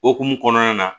Okumu kɔnɔna na